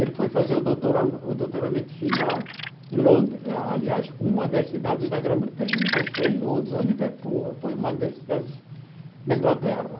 Ele foi fazer o doutora o doutoramento final em Londres, aliás, uma das cidades da Grã-Bretanha, não sei se foi em Londres ou em Liverpool, foi uma das cidades da Inglaterra.